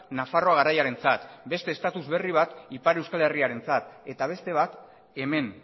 nafarroa garaiarentzat beste status berri bat ipar euskal herriarentzat eta beste bat hemen